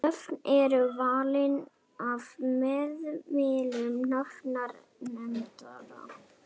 Nöfnin eru valin af meðlimum nafnanefndarinnar.